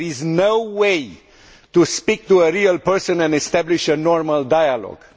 There is no way to speak to a real person and establish a normal dialogue.